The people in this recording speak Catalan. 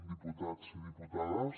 diputats i diputades